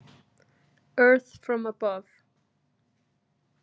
EARTH FROM ABOVE